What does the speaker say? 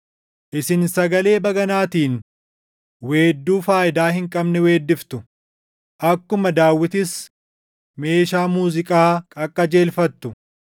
Isin sagalee baganaatiin weedduu faayidaa hin qabne weeddiftu; akkuma Daawitis meeshaa muuziiqaa qaqqajeelfattu.